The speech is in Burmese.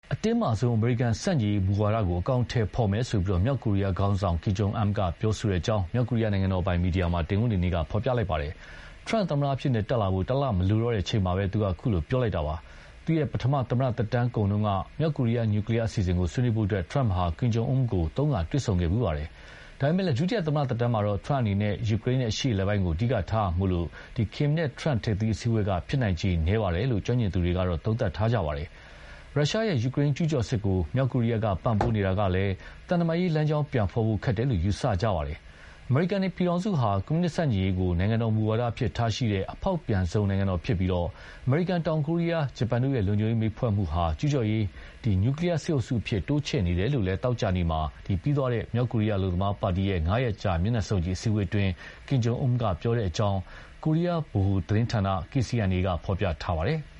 အတင်းမာဆုံးအမေရိကန် ဆန့်ကျင်ရေးမူဝါဒကို အကောင်အထည်ဖော်မယ်လို့ မြောက်ကိုရီးယား ခေါင်းဆောင် Kim Jong Un ကပြောကြောင်း မြောက်ကိုရီးယားနိုင်ငံတော်ပိုင် မီဒီယာက တနင်္ဂနွေနေ့မှာ ဖော်ပြလိုက်ပါတယ်။ ဒေါ်နယ်ထရမ့် သမ္မတအဖြစ် တက်လာဖို့ တလမလိုတော့တဲ့ အချိန်မှာ ခုလိုပြောလိုက်တာပါ။ သူ့ရဲ့ ပထမ သမ္မတသက်တမ်းတုန်းက မြောက်ကိုရီးယား နျူကလီးယား အစီအစဥ်ကို ဆွေးနွေးဖို့ ထရမ့်ဟာ Kim Jong Un ကို သုံးခါ တွေ့ခဲ့ဖူးပါတယ်။ ဒါပေမဲ့ ဒုတိယ သမ္မတသက်တမ်းမှာတော့ ထရမ့်အနေနဲ့ ယူကရိန်း နဲ့ အရှေ့အလယ်ပိုင်းကို အဓိကထားရမှာမို့ ကင်မ်နဲ့ ထရမ့် ထိပ်သီး အစည်းအဝေးက ဖြစ်နိုင်ခြေနည်းတယ်လို့ ကျွမ်းကျင်သူများစွာက သုံးသပ်ကြပါတယ်။ ရုရှား ရဲ့ ယူကရိန်း ကျူးကျော်စစ်ကို မြောက်ကိုရီးယားက ပံ့ပိုးနေတာကလည်း သံတမန်ရေးလမ်းကြောင်း ပြန်ဖော်ဖို့ ခက်တယ်လို့ ယူဆကြတာပါ။ အမေရိကန် နိုင်ငံဟာ ကွန်မြူနစ်ဆန့်ကျင်ရေးကို နိုင်ငံတော်မူဝါဒအဖြစ်ထားရှိတဲ့ အဖောက်ပြန်ဆုံးသောနိုင်ငံတော်ဖြစ်ပြီး အမေရိကန်၊ တောင်ကိုရီးယား၊ ဂျပန်တို့ရဲ့ လုံခြုံရေး မိတ်ဘက်ဖွဲ့မှုဟာ ကျူးကျော်ရေး နျူကလီးယား စစ်အုပ်စုအဖြစ် တိုးချဲ့နေတယ်လို့လည်း သောကြာနေ့မှာ ပြီးသွားတဲ့ မြောက်ကိုရီးယား အလုပ်သမားပါတီရဲ့ ၅ ရက်ကြာ မျက်နှာစုံညီ အစည်းအဝေးမှာ Kim Jong Un က ပြောခဲ့ကြောင်း ကိုရီးယားဗဟိုသတင်းဌာန KCNA က ဖော်ပြပါတယ်။